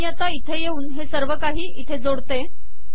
मी आता इथे येऊन हे सर्व काही इथे शेवटी जोडते